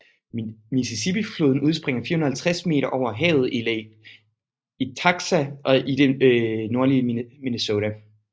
Mississippifloden udspringer 450 meter over havet i Lake Itasca i det nordlige Minnesota